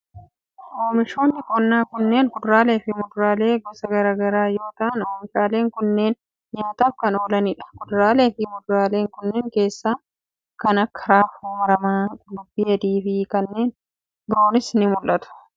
Oomishoonni qonnaa kunneen kuduraalee fi muduraalee gosa garaa garaa yoo ta'an, oomishaaleen kunneen nyaataf kan oolanii dha. Kuduraalee fi muduraalee kanneen keessaa kan akka: raafuu maramaa ,qullubbii adii fi kanneen biroos ni mul'atu.